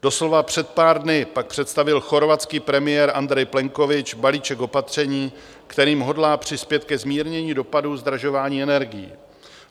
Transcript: Doslova před pár dny pak představil chorvatský premiér Andrej Plenković balíček opatření, kterým hodlá přispět ke zmírnění dopadů zdražování energií.